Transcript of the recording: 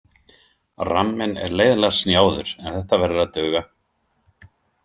Ramminn er leiðinlega snjáður en þetta verður að duga.